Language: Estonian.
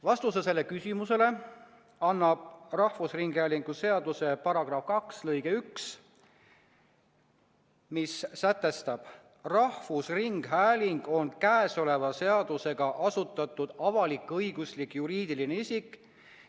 Vastuse sellele küsimusele annab rahvusringhäälingu seaduse § 2 lõige 1, mis sätestab: "Rahvusringhääling on käesoleva seadusega asutatud avalik-õiguslik juriidiline isik.